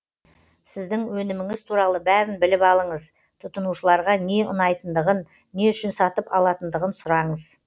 сіздің өніміңіз туралы бәрін біліп алыңыз тұтынушыларға не ұнайтындығын не үшін сатып алатындығын сұраңыз